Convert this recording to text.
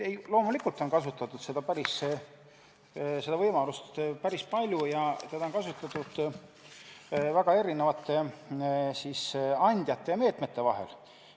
Loomulikult on seda võimalust kasutatud päris palju ja seda on kasutatud väga erinevate andjate ja meetmete vahel.